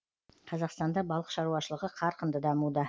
қазақстанда балық шаруашылығы қарқынды дамуда